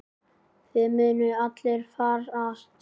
Þið munuð allir farast.